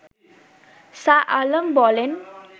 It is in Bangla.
শাহ আলম বলেন